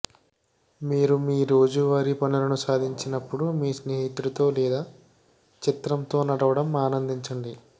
మీరు మీ రోజువారీ పనులను సాధించినప్పుడు మీ స్నేహితుడితో లేదా చిత్రంతో నడవడం ఆనందించండి